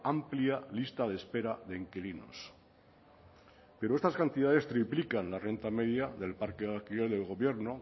amplia lista de espera de inquilinos pero estas cantidades triplican la renta media del parque de alquiler del gobierno